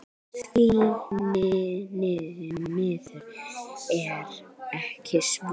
Því miður er ekki svo.